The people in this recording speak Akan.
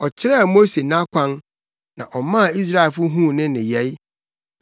Ɔkyerɛɛ Mose nʼakwan, na ɔmaa Israelfo huu ne nneyɛe.